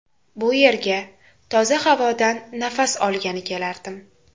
Bu yerga toza havodan nafas olgani kelardim.